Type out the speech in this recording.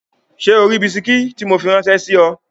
Ṣé o ri bisikí tí mo fi ráńṣẹ́ sí ọ?